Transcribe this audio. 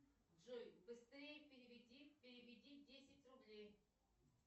джой быстрей переведи переведи десять рублей